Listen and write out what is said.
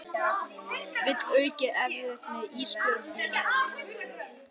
Vill aukið eftirlit með ísbjörnum